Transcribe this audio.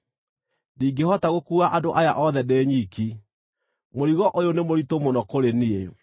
Ndingĩhota gũkuua andũ aya othe ndĩ nyiki; mũrigo ũyũ nĩ mũritũ mũno kũrĩ niĩ.